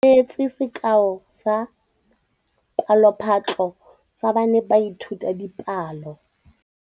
Moithuti o neetse sekaô sa palophatlo fa ba ne ba ithuta dipalo.